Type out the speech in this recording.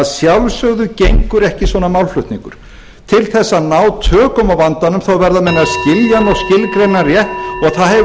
sjálfsögðu gengur ekki svona málflutningur til þess að ná tökum á vandanum verða menn að skilja hann og skilgreina hann rétt og það hefur